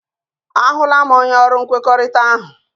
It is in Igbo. A hụla m, onye ọrụ nkwekọrịta ahụ.